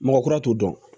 Mɔgɔ kura t'o dɔn